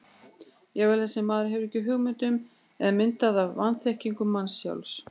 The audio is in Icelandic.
Jafnvel það sem maður hefur ekki hugmynd um er myndað af vanþekkingu manns sjálfs.